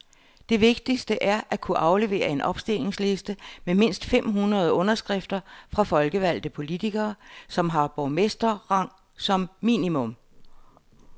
Det vigtigste er at kunne aflevere en opstillingsliste med mindst fem hundrede underskrifter fra folkevalgte politikere, som har borgmesterrang som minimum.